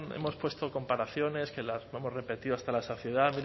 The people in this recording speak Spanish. hemos puesto comparaciones que las podemos repetir hasta la saciedad